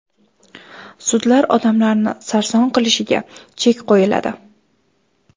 Sudlar odamlarni sarson qilishiga chek qo‘yiladi.